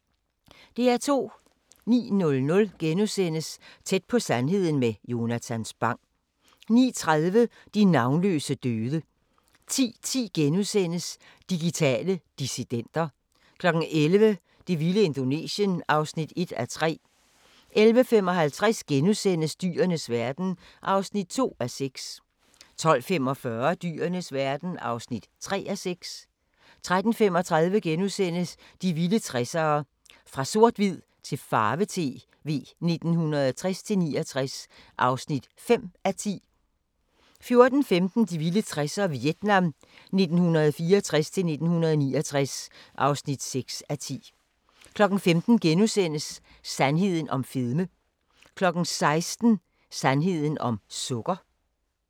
09:00: Tæt på sandheden med Jonatan Spang * 09:30: De navnløse døde 10:10: Digitale dissidenter * 11:00: Det vilde Indonesien (1:3) 11:55: Dyrenes verden (2:6)* 12:45: Dyrenes verden (3:6) 13:35: De vilde 60'ere: Fra s/h til farve-tv 1960-69 (5:10)* 14:15: De vilde 60'ere: Vietnam 1964-1969 (6:10) 15:00: Sandheden om fedme * 16:00: Sandheden om sukker